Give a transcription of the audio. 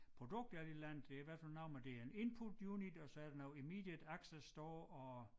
Produkt er det et eller andet det i hvert fald noget med det er en input unit og så er det noget immediate access store og